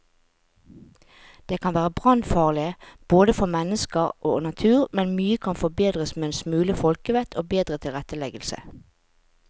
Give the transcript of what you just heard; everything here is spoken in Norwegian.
De kan være brannfarlige både for mennesker og natur, men mye kan forbedres med en smule folkevett og bedre tilretteleggelse.